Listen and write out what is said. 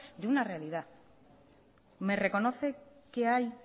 de una realidad me reconoce que hay